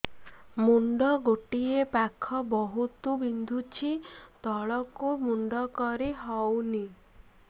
ମୁଣ୍ଡ ଗୋଟିଏ ପାଖ ବହୁତୁ ବିନ୍ଧୁଛି ତଳକୁ ମୁଣ୍ଡ କରି ହଉନି